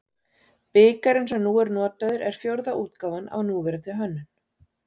Bikarinn sem nú er notaður er fjórða útgáfan af núverandi hönnun.